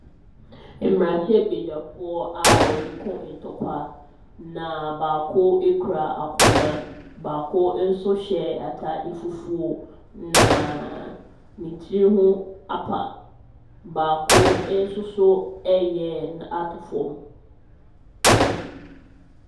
Mmarahyɛbadwafoɔ a wɔreko ntɔkwa. Na baako kura akonnwa. Baako nso hyɛ ataare fufuo na tiri ho apa. Baakonso so reyɛ atɔ fam.